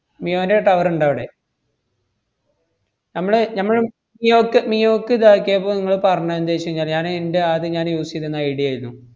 മിയോന്‍റെ tower ഇണ്ടോ അവടെ? നമ്മള് ഞമ്മള് മിയോക്ക് മിയോക്കിതാക്കിയപ്പം ~ങ്ങള് പറഞ്ഞതെന്താച്ചുഞ്ഞാല് ഞാന് ഇന്‍റെ ആദ്യം ഞാന് use എയ്‌തിന്നത് ഐഡിയേരുന്നു.